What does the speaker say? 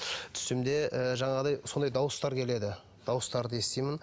түсімде ы жаңағыдай сондай дауыстар келеді дауыстарды естимін